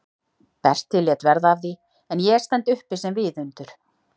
Berti lét verða af því en ég stend uppi sem viðundur?